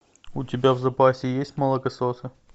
у тебя в запасе есть молокососы